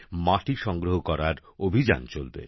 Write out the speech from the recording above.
মাটি সংগ্রহ করার অভিযান চলবে